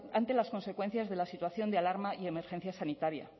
ante las consecuencias de la situación de alarma y emergencia sanitaria